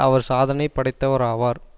அவர் சாதனை படைத்தவராவார்